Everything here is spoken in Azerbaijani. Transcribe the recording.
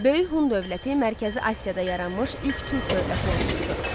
Böyük Hun dövləti Mərkəzi Asiyada yaranmış ilk türk dövləti olmuşdu.